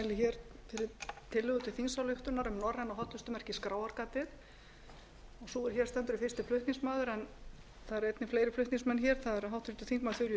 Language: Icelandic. hér stendur er fyrsti flutningsmaður en það eru einnig fleiri flutningsmenn það eru háttvirtir þingmenn þuríður backman